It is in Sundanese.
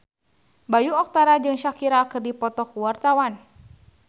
Bayu Octara jeung Shakira keur dipoto ku wartawan